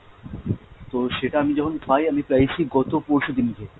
তো সেটা আমি যখন পাই আমি পেয়েছি গত পরশু দিনকে।